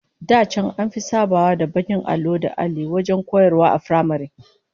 Da can an fi sabawa da bakin allo da alli wajen koyarwa a firamare